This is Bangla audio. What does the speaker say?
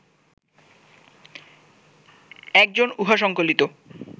এক জন উহা সঙ্কলিত